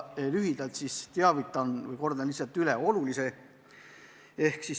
Ma lühidalt teavitan teid või kordan lihtsalt olulise üle.